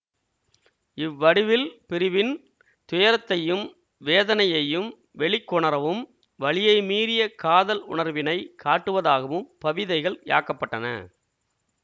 இவ்வடிவில் பிரிவின் துயரத்தையும் வேதனையையும் வெளிக்கொணரவும் வலியை மீறிய காதல் உணர்வினை காட்டுவதாகவும் பவிதைகள் யாக்கப்பட்டன